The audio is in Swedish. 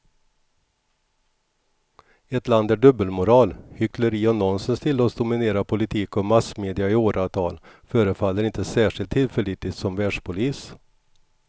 Ett land där dubbelmoral, hyckleri och nonsens tillåts dominera politik och massmedia i åratal förefaller inte särskilt tillförlitligt som världspolis.